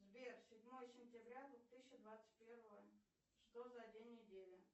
сбер седьмое сентября две тысячи двадцать первого что за день недели